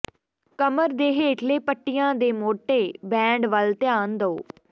ਕਮਰ ਦੇ ਹੇਠਲੇ ਪੱਟੀਆਂ ਦੇ ਮੋਟੇ ਬੈਂਡ ਵੱਲ ਧਿਆਨ ਦਿਓ